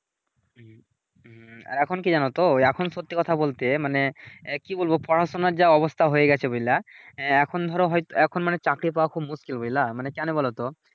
হুম হুম এখন কি জানতো ওই এখন সত্যি কথা বলতে মানে কি বলবো পড়াশুনার যা অবস্থা হয়ে গেছে বুঝলা এখন ধরো হয়তো এখন মানে চাকরি পাওয়া খুব মুসকিল বুঝলা মানে কেনো বলতো